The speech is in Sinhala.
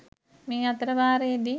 මේ අතර වාරයේදි